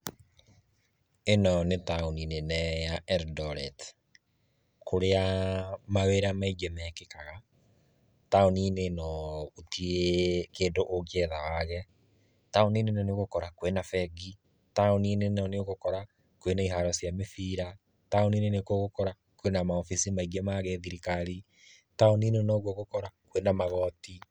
Ino nĩ taũni nene ya Eldoret, kũrĩa mawĩra maingĩ mekĩkaga, taũni-inĩ ĩno gũtirĩ kĩndũ ũngĩetha wage, taũni-inĩ ĩno nĩ ũgũkora kwĩna bengi, taũni-inĩ ĩno nĩ ũgũkora kwĩna iharo cia mĩbira, taũni-inĩ ĩno nĩ ũgũkora kwĩna maobici maingĩ ma gĩthirikari, taũni-inĩ ĩno nĩ ũgũkora kwĩna magoti.